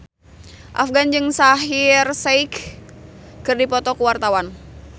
Afgan jeung Shaheer Sheikh keur dipoto ku wartawan